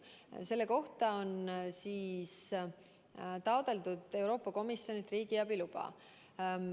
Jah, selleks on taotletud Euroopa Komisjonilt riigiabi luba.